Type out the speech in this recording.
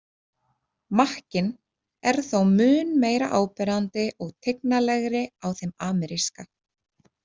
Makkinn er þó mun meira áberandi og tignalegri á þeim ameríska.